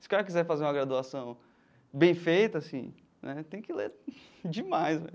Se o cara quiser fazer uma graduação bem feita, assim né, tem que ler demais.